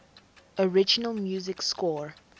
original music score